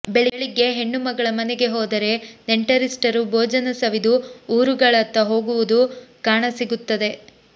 ಬೆಳಿಗ್ಗೆ ಹೆಣ್ಣುಮಗಳ ಮನೆಗೆ ಹೋದರೆ ನೆಂಟರಿಸ್ಟರು ಭೋಜನ ಸವಿದು ಊರುಗಳತ್ತ ಹೋಗುವುದು ಕಾಣಸಿಗುತ್ತದೆ